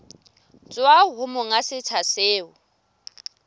tswa ho monga setsha seo